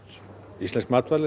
íslensk matvæli